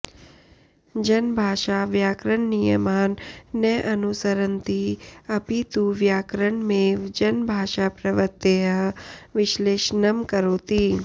जनभाषा व्याकरणनियमान् न अनुसरन्ति अपि तु व्याकरणमेव जनभाषाप्रवृत्तेः विश्लेषणं करोति